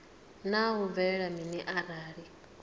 naa hu bvelela mini arali